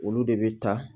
Olu de bɛ ta